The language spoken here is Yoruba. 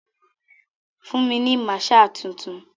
Fún mi ni maaṣer tuntun.